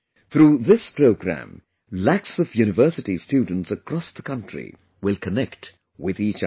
Through this programme, lakhs of university students across the country will connect with each other